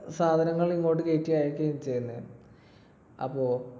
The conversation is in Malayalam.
സാധനങ്ങൾ ഇങ്ങോട്ടു കയറ്റി അയക്കുകയും ചെയ്യുന്നു. അപ്പൊ